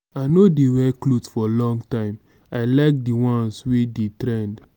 i no dey wear clothe for long time i like di ones wey dey trend.